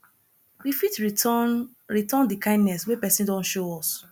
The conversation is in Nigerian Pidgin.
we fit return return di kindness wey person don show us